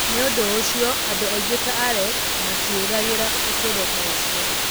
Nĩ ũndũ ũcio, andũ aingĩ ta Alex matiĩriragĩria ũtũũro ta ũcio.